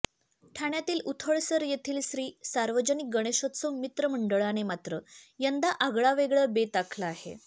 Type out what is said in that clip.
ठाण्यातील उथळसर येथील श्री सार्वजनिक गणेशोत्सव मित्र मंडळाने मात्र यंदा आगळावेगळा बेत आखला आहे